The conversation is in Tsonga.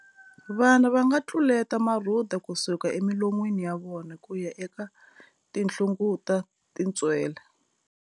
Vana va nga tluleta marhuda ku suka emilon'wini ya vona ku ya eka tinhlungut a tintswele.